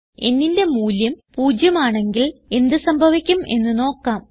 nന്റെ മൂല്യം പൂജ്യം ആണെങ്കിൽ എന്ത് സംഭവിക്കും എന്ന് നോക്കാം